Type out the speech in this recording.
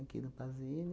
Aqui no Pazini.